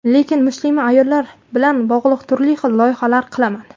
Lekin muslima ayollar bilan bog‘liq turli xil loyihalar qilaman.